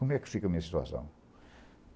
Como é que fica a minha situação?